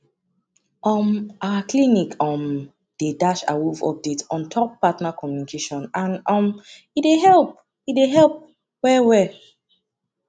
um our clinic um dey dash awoof update ontop partner communication and um e dey help e dey help well well